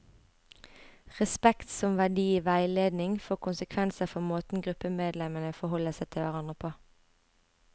Respekt som verdi i veiledning får konsekvenser for måten gruppemedlemmene forholder seg til hverandre på.